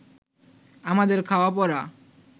আমাদের খাওয়া-পরা